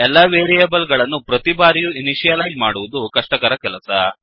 ಎಲ್ಲಾ ವೇರಿಯೇಬಲ್ ಗಳನ್ನು ಪ್ರತಿಬಾರಿಯೂ ಇನಿಷಿಯಲೈಜ್ ಮಾಡುವುದು ಕಷ್ಟಕರ ಕೆಲಸ